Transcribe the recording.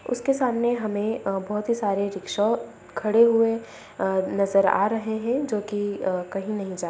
उसके सामने हमें अ बहुत ही सारे रिक्से खड़े हुए अ नजर आ रहें हैंजो की अ कहीं नहीं जा --